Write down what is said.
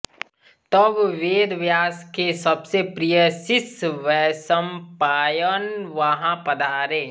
तब वेद व्यास के सबसे प्रिय शिष्य वैशम्पायन वहाँ पधारे